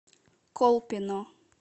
колпино